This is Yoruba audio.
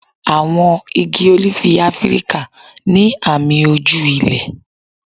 Àwọn igi ólífì Áfíríkà ní àmì ojú ilẹ̀.